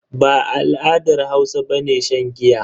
Ba al'adar Hausa bane shan giya.